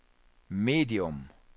medium